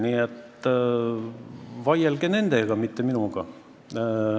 Nii et vaielge nendega, mitte minuga.